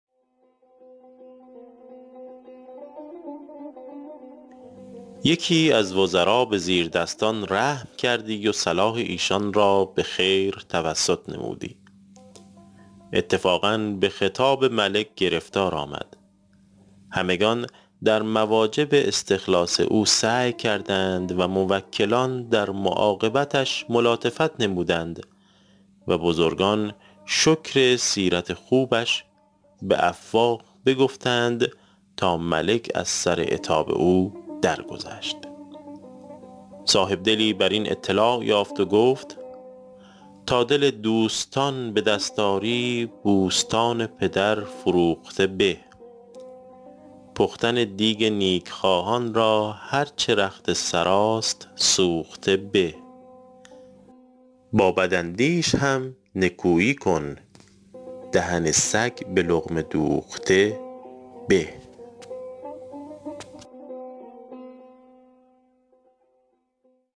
یکی از وزرا به زیردستان رحم کردی و صلاح ایشان را به خیر توسط نمودی اتفاقا به خطاب ملک گرفتار آمد همگنان در مواجب استخلاص او سعی کردند و موکلان در معاقبتش ملاطفت نمودند و بزرگان شکر سیرت خوبش به افواه بگفتند تا ملک از سر عتاب او درگذشت صاحبدلی بر این اطلاع یافت و گفت ﺗﺎ دل دوﺳﺘﺎن ﺑﻪ دﺳﺖ ﺁری ﺑﻮﺳﺘﺎن ﭘﺪر ﻓﺮوﺧﺘﻪ ﺑﻪ پختن دیگ نیکخواهان را هر چه رخت سراست سوخته به ﺑﺎ ﺑﺪاﻧﺪﻳﺶ هم ﻧﻜﻮﻳﻰ کن دهن ﺳﮓ ﺑﻪ ﻟﻘﻤﻪ دوﺧﺘﻪ ﺑﻪ